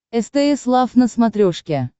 стс лав на смотрешке